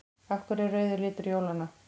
Af hverju er rauður litur jólanna?